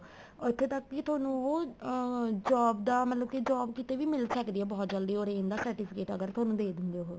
ਇੱਥੇ ਤੱਕ ਕੀ ਤੁਹਾਨੂੰ job ਦਾ ਮਤਲਬ job ਕਿਤੇ ਵੀ ਮਿਲ ਸਕਦੀ ਆ ਬਹੁਤ ਜਲਦੀ orange ਦਾ certificate ਅਗਰ ਤੁਹਾਨੂੰ ਦੇ ਦੇਣ ਗਏ ਉਹ